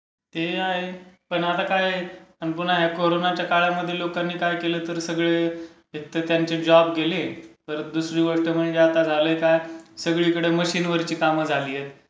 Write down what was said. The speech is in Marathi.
ते आहेच. पण आता काय.. पुन्हा या कोरोनाच्या काळामध्ये लोकांनी काही केलं तर सगळे... एकल्टर त्यांचे जॉब गेले. परत दुसरी गोष्ट म्हणजे आता झालंय काय, सगळीकडे आता मशीनवरची कामं झालीयत.